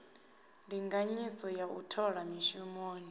ndinganyiso ya u thola mishumoni